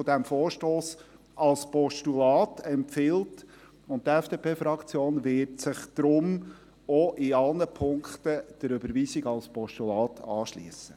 dieses Vorstosses als Postulat empfiehlt, und die FDP-Fraktion wird sich darum auch in allen Punkten der Überweisung als Postulat anschliessen.